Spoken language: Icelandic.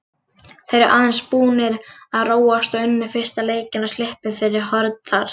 Þeir eru aðeins búnir að róast og unnu fyrsta leikinn og sluppu fyrir horn þar.